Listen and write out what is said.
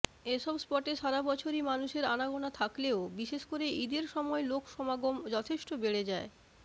এসব স্পটে সারা বছরই মানুষের আনাগোনা থাকলেও বিশেষ করে ঈদের সময় লোকসমাগম যথেষ্ট বেড়ে যায়